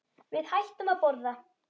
Við hættum að borða.